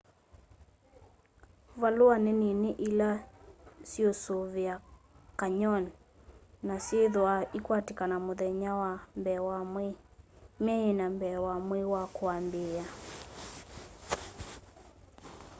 valua ni nini ila syiusuvia canyon na syithwaa ikwatikana muthenya wa mbee wa mwei myei ina mbee wa mwei wa kuambiia